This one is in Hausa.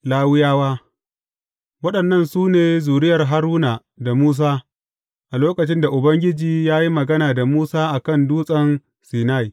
Lawiyawa Waɗannan su ne zuriyar Haruna da Musa a lokacin da Ubangiji ya yi magana da Musa a kan Dutsen Sinai.